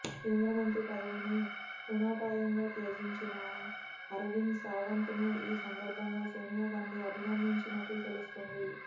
కేంద్రమంత్రి పదవిని తృణప్రాయంగా త్యజించిన అరవింద్ సావంత్ ను ఈ సందర్భంగా సోనియాగాంధీ అభినందించినట్లు తెలుస్తోంది